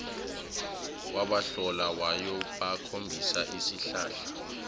wabahola wayobakhombisa isihlahla